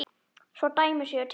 Svo dæmi séu tekin.